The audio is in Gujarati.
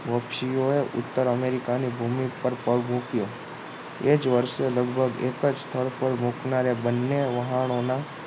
પક્ષીઓએ ઉત્તર અમેરિકાની ભૂમિ પર પગ મૂક્યો એ જ વર્ષે લગભગ એક જ સ્થળ પર રોકનારા બંને વાહણો